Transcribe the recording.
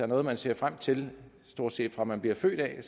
noget man ser frem til stort set fra man bliver født er